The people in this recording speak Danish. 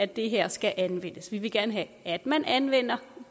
det her skal anvendes vi vil gerne have at man anvender